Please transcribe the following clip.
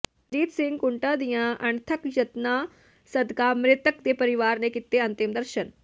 ਰਣਜੀਤ ਸਿੰਘ ਕੂੰਟਾਂ ਦੀਆਂ ਅਣਥੱਕ ਯਤਨਾਂ ਸਦਕਾ ਮ੍ਰਿਤਕ ਦੇ ਪਰਿਵਾਰ ਨੇ ਕੀਤੇ ਅੰਤਿਮ ਦਰਸ਼ਨ